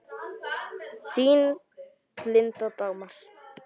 Þín, Linda Dagmar.